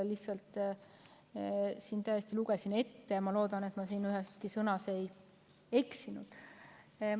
Ma lihtsalt lugesin selle siin ette ja loodan, et ma üheski sõnas ei eksinud.